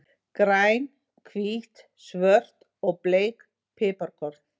Græn, hvít, svört og bleik piparkorn.